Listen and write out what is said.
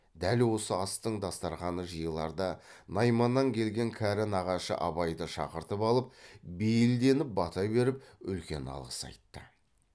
дәл осы астың дастарқаны жиыларда найманнан келген кәрі нағашы абайды шақыртып алып бейілденіп бата беріп үлкен алғыс айтты